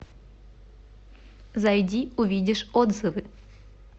зайди увидишь отзывы